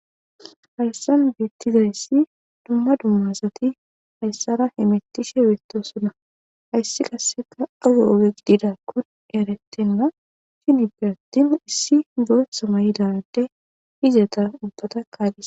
Hayssan beetizayssi dumma dumma asati hayssara hemettishe beettoosona.hayssi qasseka kun7e ogegeetetiza erettiza issi boothi mayida izeta ubbata kaalethees.